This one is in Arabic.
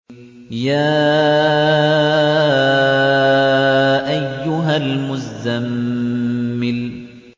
يَا أَيُّهَا الْمُزَّمِّلُ